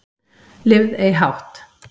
Lifð ei hátt